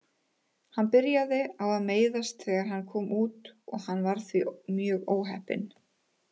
Hann byrjaði á að meiðast þegar hann kom út og hann var því mjög óheppinn.